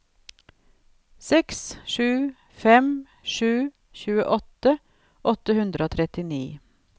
seks sju fem sju tjuesju åtte hundre og trettini